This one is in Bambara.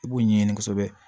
I b'u ɲɛɲini kosɛbɛ